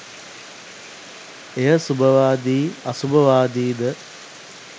එය සුභවාදී අසුභවාදීද